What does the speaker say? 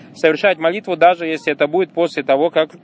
совершать молитву даже если это будет после того как